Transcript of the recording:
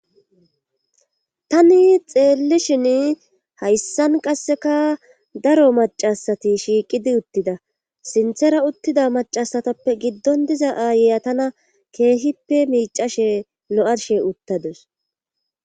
tani xeelli shin hayssan qasseka daro macasati shiiqidi uttida sinthera uttida macasatappe giddon diza aayeya tana keehippe miicashe lo7arshe uttadus